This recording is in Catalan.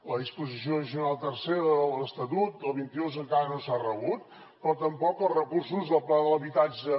la disposició addicional tercera de l’estatut del vint dos encara no s’ha rebut però tampoc els recursos del pla de l’habitatge